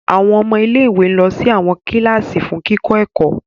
Awọn ọmọ ilé-ìwé lọ sí awọn kilasi fún kikọ ẹkọ